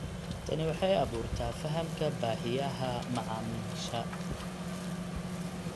Tani waxay abuurtaa fahamka baahiyaha macaamiisha.